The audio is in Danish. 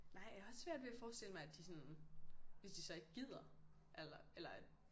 Nej jeg har også svært ved at forestille mig at de sådan hvis de så ikke gider eller eller at